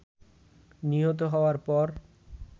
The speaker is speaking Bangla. নিহত হওয়ার পর